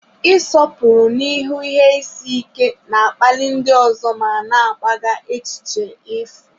Ịsọpụrụ n'ihu ihe isi ike na-akpali ndị ọzọ ma na-agbagha echiche efu.